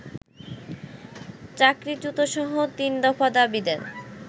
চাকরিচ্যুতসহ তিনদফা দাবি দেন